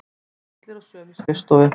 Allir á sömu skrifstofu.